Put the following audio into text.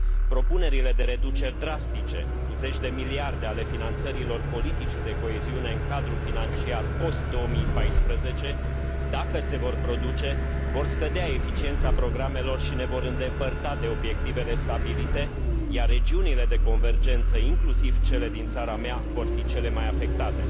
Propunerile de reduceri drastice, cu zeci de miliarde, ale finanțărilor politicii de coeziune în cadrul financiar post 2014, dacă se vor produce, vor scădea eficiența programelor și ne vor îndepărta de obiectivele stabilite, iar regiunile de convergență, inclusiv cele din țara mea, vor fi cele mai afectate.